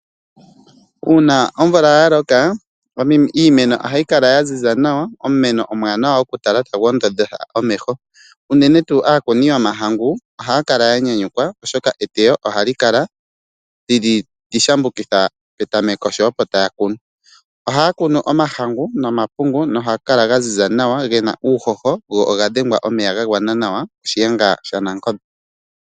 Uuna omvula ya loka, iimeno ohayi kala ya ziza nawa, omumeno omwaanawa oku tala nawa tagu ondodha omeho. Unene tuu aakuni yomahangu ohaya kala ya nyanyukwa oshoka eteyo ohali kala ewanawa li shambukitha petameko sho opo taya kunu. Ohaya kunu omahangu nomapungu nohaga kala ga ziza nawa, gena uuhoho, shiyenga shanangombe.